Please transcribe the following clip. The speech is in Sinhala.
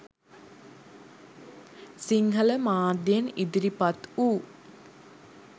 සිංහල මාධ්‍යයෙන් ඉදිරිපත් වූ